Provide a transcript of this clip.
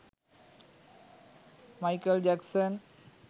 michael jackson